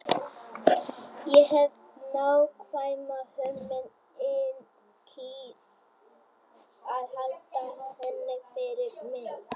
Ég hef nákvæma hugmynd en kýs að halda henni fyrir mig.